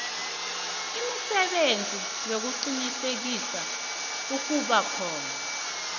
imisebenzi yokuqinisekisa ukubakhona